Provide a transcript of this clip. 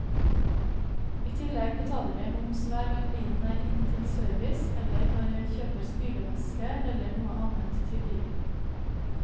I tillegg betaler jeg moms hver gang bilen er inn til service eller når jeg kjøper spylevæske eller noe annet til bilen.